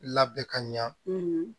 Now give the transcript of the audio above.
Labɛn ka ɲa